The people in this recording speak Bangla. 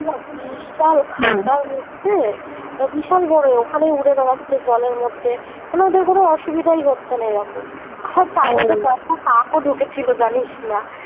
বিশাল খাচার মধ্যে বিশাল বড় ওখানেই উড়ে বেড়াচ্ছে জলের মধ্যে মানে ওদের কোন অসুবিধাই হচ্ছে না এরকম কাক ও ঢুকেছিল জানিস না